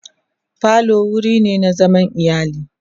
falo wurine na zaman iyali